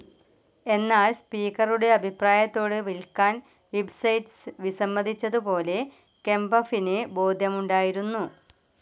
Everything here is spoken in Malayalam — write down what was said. എന്നാൽ സ്പീക്കറുടെ അഭിപ്രായത്തോട് വിൽക്കാൻ വിബ്സെറ്റ്സ് വിസമ്മതിച്ചതുപോലെ കെംപഫിന് ബോധ്യമുണ്ടായിരുന്നു.